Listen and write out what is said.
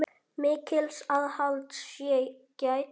Mikils aðhalds sé gætt.